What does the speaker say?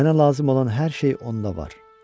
Mənə lazım olan hər şey onda var.